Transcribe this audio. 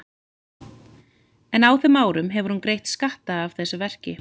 En á þeim árum hefur hún greitt skatta af þessu verki.